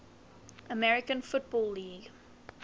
american football league